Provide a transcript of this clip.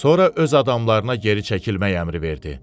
Sonra öz adamlarına geri çəkilmək əmri verdi.